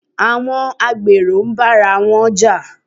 Àwọn agbèrò ń bára wọn Jà